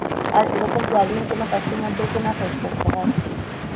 আর এরকম problem কোনো customer দেরকে না face করতে